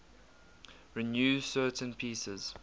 renew certain pieces